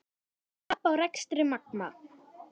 Tap á rekstri Magma